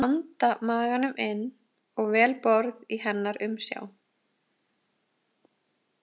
Ég anda maganum inn og vel borð í hennar umsjá.